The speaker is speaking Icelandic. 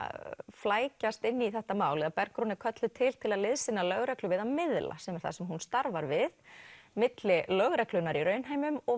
flækjast inn í þetta mál eða Bergrún er kölluð til til að liðsinna lögreglu við að miðla sem er það sem hún starfar við milli lögreglunnar í raunheimum og